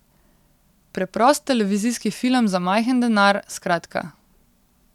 Preprost televizijski film za majhen denar, skratka.